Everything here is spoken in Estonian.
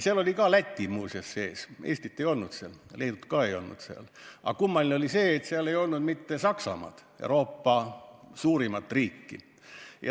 Seal hulgas oli muuseas ka Läti, Eestit ei olnud, Leedut ka ei olnud, aga kummaline on see, et ei olnud ka Saksamaad, Euroopa suurimat riiki.